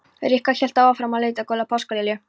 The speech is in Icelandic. Rikka hélt áfram að lita gula páskalilju.